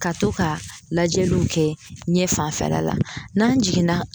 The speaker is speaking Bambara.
Ka to ka lajɛliw kɛ ɲɛ fanfɛla la n'an jiginna